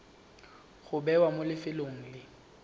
go bewa mo lefelong le